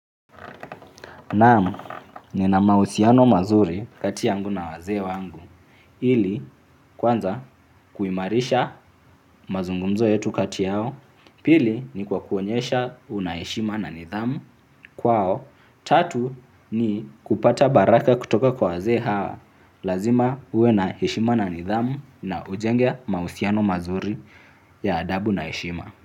Naamini nina mahusiano mazuri kati yangu na wazee wangu ili kwanza kuimarisha mazungumzo yetu kati yao pili ni kwa kuonyesha una heshima na nidhamu kwao. Tatu ni kupata baraka kutoka kwa wazee hawa lazima uwe na heshima na nidhamu na ujenge mahusiano mazuri ya adabu na heshima.